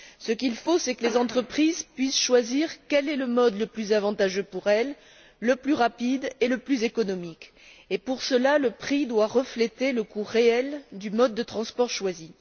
Ce qu'il faut, c'est que les entreprises puissent choisir quel est le mode le plus avantageux, le plus rapide et le plus économique pour elles, et pour cela, le prix doit refléter le coût réel du mode de transport choisi.